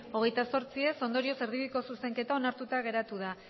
hogeita zortzi ez ondorioz erdibideko zuzenketa onartuta geratu da